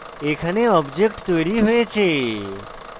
এখানে object তৈরী হয়েছে